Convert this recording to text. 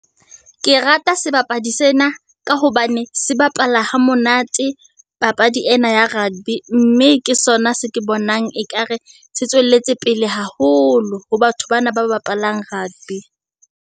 Ke rata sebapadi sena, ka hobane se bapala hamonate papadi ena ya rugby, mme ke sona se ke bonang ekare, se tswelletse pele haholo, ho batho bana ba bapalang rugby.